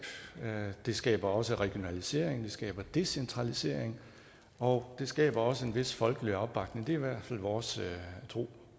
det skaber også regionalisering det skaber decentralisering og det skaber også en vis folkelig opbakning det er i hvert fald vores tro